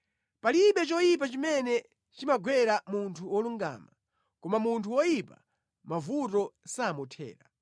Palibe choyipa chimene chimagwera munthu wolungama, koma munthu woyipa mavuto samuthera.